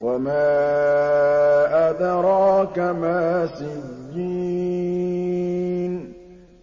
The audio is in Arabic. وَمَا أَدْرَاكَ مَا سِجِّينٌ